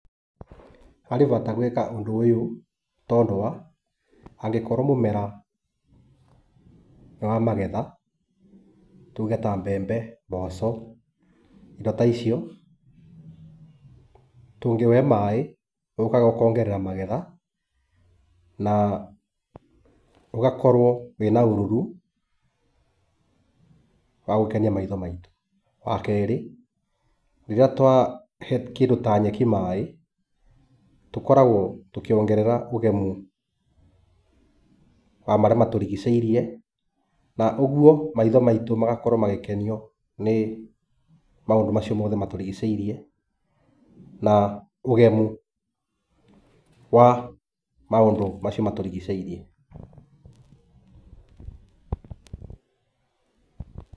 Harĩ bata gwĩka ũndũ ũyũ tondũ wa angĩkorũo mũmera nĩ wa magetha tuge ta mbembe, mboco, indo ta icio, tũngĩũhe maĩ ũkaga ũkongerera magetha na ũgakorũo wĩna ũruru wa gũkenia maitho maitũ. Wa kerĩ, rĩrĩa twahe kĩndũ ta nyeki maĩ tũkoragũo tũkĩwongerera ũgemu wa marĩa matũrigicĩirie na ũguo maitho maitũ magakorũo magĩkenio nĩ maũndũ macio mothe matũrigicĩirie na ũgemu wa maũndũ macio matũrigicĩirie.